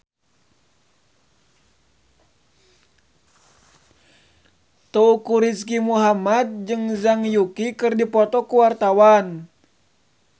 Teuku Rizky Muhammad jeung Zhang Yuqi keur dipoto ku wartawan